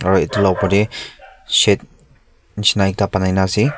aro etu la opor te shade nishina ekta banai na ase.